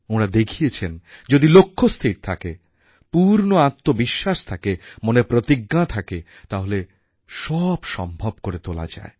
ওঁরা দেখিয়েছেন যদি লক্ষ্য স্থির থাকে পূর্ণ আত্মবিশ্বাস থাকে মনে প্রতিজ্ঞা থাকে তাহলে সব সম্ভব করে তোলা যায়